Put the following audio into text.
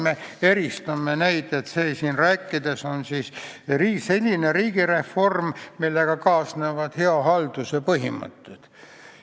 Me peame eristama, et see, millest meie siin räägime, on selline riigireform, millega kaasnevad hea halduse põhimõtted.